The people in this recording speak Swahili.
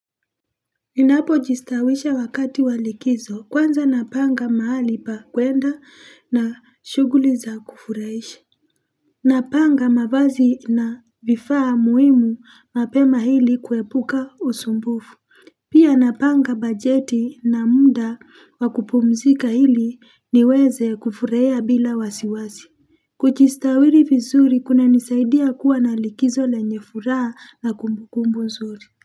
Ninapo jistawisha wakati wa likizo kwanza napanga mahali pa kuenda na shughuli za kufurahisha Napanga mavazi na vifaa muhimu mapema ili kuepuka usumbufu Pia napanga bajeti na muda wa kupumzika ili niweze kufurahia bila wasiwasi Kujistawiri vizuri kunanisaidia kuwa na likizo lenye furaha na kumbukumbu nzuri.